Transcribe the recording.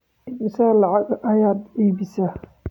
Immisa lacag ah ayaad iibisaa?